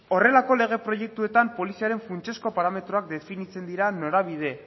horrelako lege proiektuetan poliziaren funtsezko parametroak definitzen dira norabide